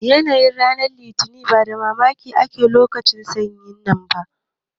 Yanayin ran litini ya bada mamaki a lokacin sanyi nan